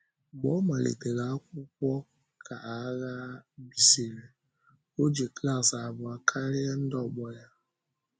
Mgbe ọ malitèrè akwụkwọ ka aghà bìsịrị, ọ jì klas abụọ karịa ndị ọgbọ ya.